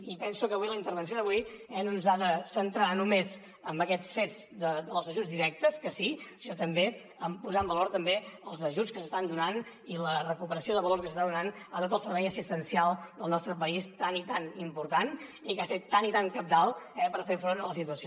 i penso que avui la intervenció d’avui no ens ha de centrar només en aquests fets dels ajuts directes que sí sinó també a posar en valor també els ajuts que s’estan donant i la recuperació de valor que s’està donant a tot el servei assistencial del nostre país tan i tan important i que ha set tan i tan cabdal per fer front a la situació